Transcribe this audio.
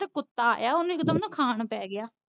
ਕੁੱਤਾ ਆਇਆ ਓਹਨੂੰ ਇਕ ਦਮ ਨਾ ਖਾਨ ਪੈ ਗਿਆ।